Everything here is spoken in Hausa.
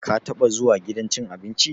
Ka taba zuwa gidan cin abinci?